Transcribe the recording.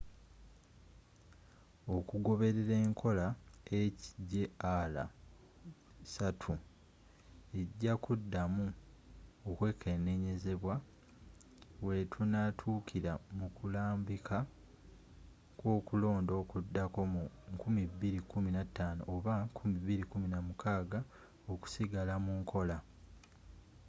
okugoberera enkola hjr-3 eja kudamu okwekenenyezebwa wetunatukira mukulambika kwokulonda okudako mu 2015 oba 2016 okusigala munkola